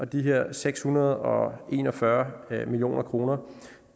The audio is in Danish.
de her seks hundrede og en og fyrre million kroner